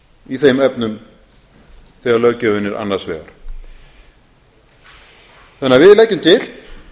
í þeim efnum þegar löggjöfin er annars vegar þannig að við leggjum til